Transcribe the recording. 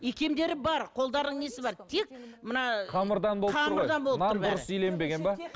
икемдері бар қолдарының несі бар тек мына қамырдан болып тұр ғой нан дұрыс иленбеген бе